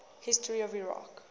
history of iraq